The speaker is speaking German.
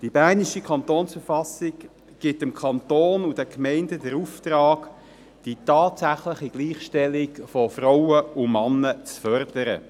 Die bernische Kantonsverfassung gibt dem Kanton und den Gemeinden den Auftrag, die tatsächliche Gleichstellung von Frauen und Männern zu fördern.